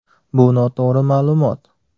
Bu noto‘g‘ri ma’lumot.